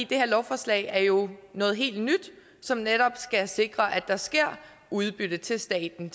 det her lovforslag er jo noget helt nyt som netop skal sikre at der sker udbytte til staten